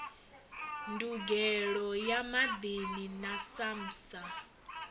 ndugelo ya maḓini na samsa